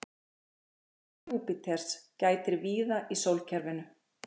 áhrifa júpíters gætir víða í sólkerfinu